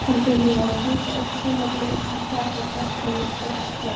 Hann byrjaði að slíta upp sumarblóm og kjassa hvert einstakt þeirra.